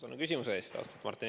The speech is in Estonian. Tänan küsimuse eest!